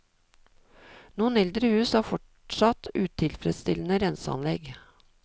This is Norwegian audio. Noen eldre hus har fortsatt utilfredsstillende renseanlegg.